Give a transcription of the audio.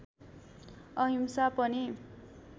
अहिंसा पनि